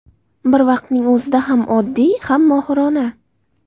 Bir vaqtning o‘zida ham oddiy, ham mohirona.